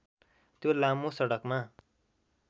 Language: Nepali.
त्यो लामो सडकमा